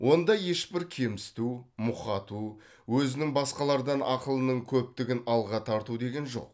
онда ешбір кемсіту мұқату өзінің басқалардан ақылының көптігін алға тарту деген жоқ